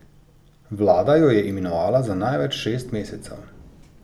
Vlada jo je imenovala za največ šest mesecev.